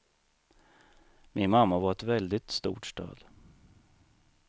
Min mamma var ett väldigt stort stöd.